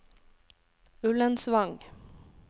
Ullensvang